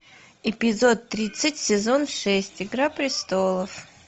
эпизод тридцать сезон шесть игра престолов